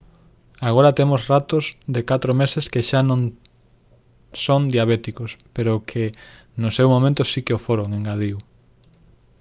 agora temos ratos de 4 meses que xa non son diabéticos pero que no seu momento si que o foron engadiu